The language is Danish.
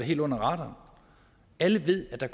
helt under radaren alle ved at der